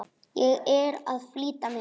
Ég er að flýta mér!